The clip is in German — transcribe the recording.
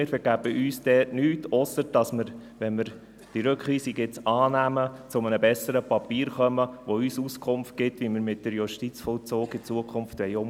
Wir vergeben uns damit nichts, ausser dass wir, wenn wir diese Rückweisung nun annehmen, zu einem besseren Papier kommen, das uns Auskunft gibt, wie wir mit dem Justizvollzug zukünftig umgehen wollen.